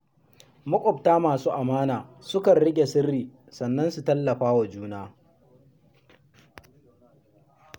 Maƙwabta masu amana sukan riƙe sirri kuma su tallafa wa juna.